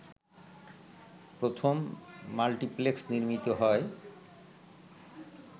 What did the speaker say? প্রথম মাল্টিপ্লেক্স নির্মিত হয়